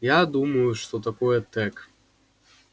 я думаю что такое тёк